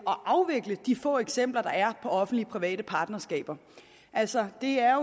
at afvikle de få eksempler der er offentlig private partnerskaber altså det er